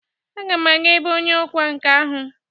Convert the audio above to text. Aga m aga ebe onye ọkwa nka ahụ.